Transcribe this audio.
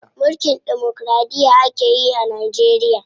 Mulkin demokiraɗiya akeyi a Najeriya.